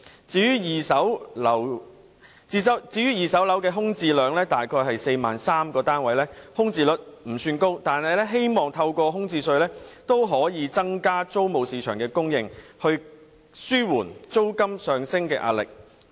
至於二手樓方面，空置量約為 43,000 個單位，空置率不算高，但我們也希望透過開徵物業空置稅，可以增加租務市場的供應，紓緩租金上升的壓力。